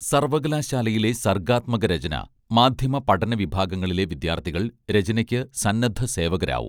സർവ്വകലാശാലയിലെ സർഗാത്മക രചന മാധ്യമപഠന വിഭാഗങ്ങളിലെ വിദ്യാർഥികൾ രചനയ്ക്ക് സന്നദ്ധ സേവകരാവും